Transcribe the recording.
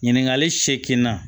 Ɲininkali seeginna